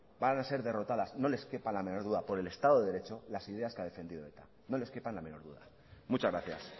van a ser derrotadas no les quepa la menor duda por el estado de derecho las ideas que ha defendido eta no les quepa la menor duda muchas gracias